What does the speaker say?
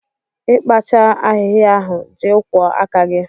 Ị kpachaa ahịhịa ahụ, jee kwọọ aka gị!